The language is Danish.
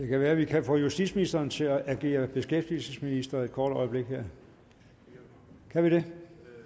kan være at vi kan få justitsministeren til at agere beskæftigelsesminister et kort øjeblik kan vi det